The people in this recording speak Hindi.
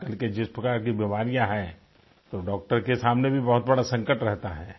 आजकल के जिस प्रकार की बीमारियाँ हैं तो डॉक्टर के सामने भी बहुत बड़ा संकट रहता है